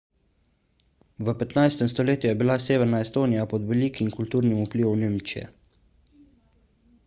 v 15 stoletju je bila severna estonija pod velikim kulturnim vplivom nemčije